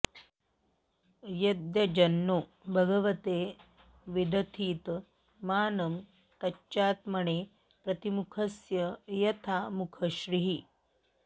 यद्यज्जनो भगवते विदधीत मानं तच्चात्मने प्रतिमुखस्य यथा मुखश्रीः